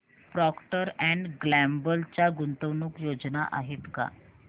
Procter and Gamble च्या गुंतवणूक योजना आहेत का